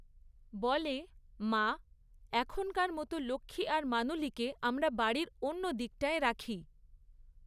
বলে, মা, এখনকার মতো লক্ষ্মী আর মানুলিকে আমরা বাড়ির অন্য দিকটায় রাখি।